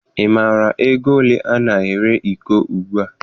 Ị maara ego ole ana ere iko ugbua?